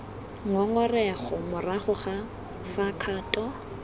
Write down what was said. ngongorego morago ga fa kgato